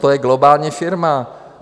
To je globální firma.